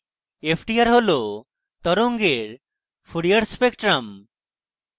ftr হল তরঙ্গের fourier spectrum